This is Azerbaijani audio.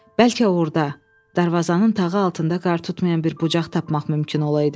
Bəlkə orada darvazanın tağı altında qar tutmayan bir bucaq tapmaq mümkün olaydı.